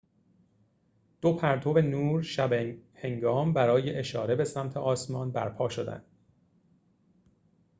دو پرتو نور شب‌هنگام برای اشاره به سمت آسمان برپا شدند